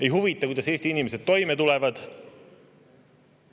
Ei huvita, kuidas Eesti inimesed toime tulevad!